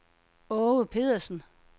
Aage Pedersen